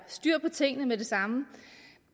styr på tingene med det samme